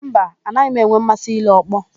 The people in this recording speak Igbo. Mba, anaghị m enwe mmasị ile ọkpọ.